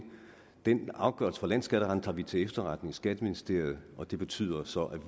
den afgørelse fra landsskatteretten tager vi til efterretning i skatteministeriet og det betyder så at